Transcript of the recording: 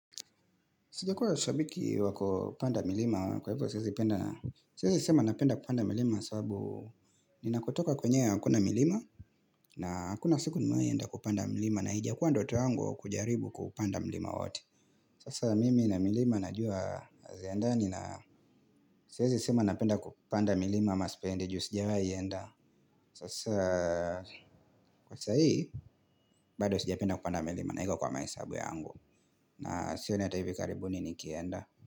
Sijakua shabiki wakupanda milima kwa hivyo siezi penda siezi sema napenda kupanda milima sababu ninakotoka kwenyewe hakuna milima na hakuna siku nimewahi enda kupanda mlima na haijakuwa ndoto yangu kujaribu kupanda mlima wowote. Sasa mimi na milima najua haziendani na siwezi sema napenda kupanda milima ama sipendi juu sijawahi enda. Sasa kwa sahii bado sijapenda kupanda milima na haiko kwa mahesabu yangu. Na sioni hata hivi karibuni nikienda.